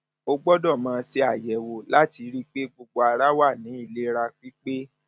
a gbọdọ máa ṣe àyẹwò láti rí i pé gbogbo ara wà ní ìlera pípé